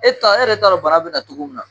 E t'a e yɛrɛ t'a dɔn bana bɛ na cogo min na?